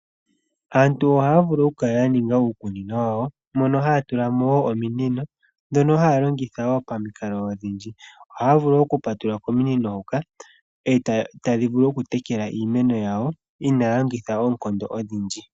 Aantu oha ya vulu oku kala ya ninga uukunino wayo mono ha ya tulamo wo omiinino dhono haya longitha wo pamikalo odhindji. Oha vulu wo oku patulula komiinino hoka eta vulu oku tekela iimeno yawo inaa longitha oonkondo odhindji.